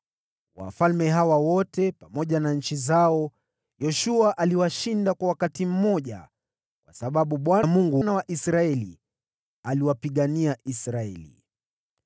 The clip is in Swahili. Wafalme hawa wote pamoja na nchi zao Yoshua aliwashinda kwa wakati mmoja, kwa sababu Bwana , Mungu wa Israeli, aliwapigania Israeli.